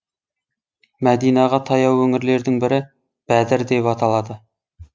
мәдинаға таяу өңірлердің бірі бәдір деп аталады